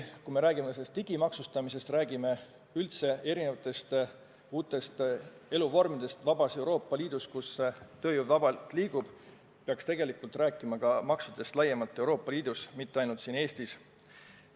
Kui me räägime digimaksustamisest, räägime üldse erinevatest uutest eluvormidest vabas Euroopa Liidus, kus tööjõud vabalt liigub, siis peaks tegelikult rääkima ka maksudest laiemalt Euroopa Liidus, mitte ainult siin Eestis.